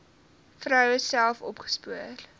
vroue self opgespoor